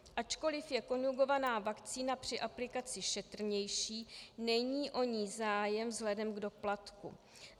Ačkoliv je konjugovaná vakcína při aplikaci šetrnější, není o ni zájem vzhledem k doplatku.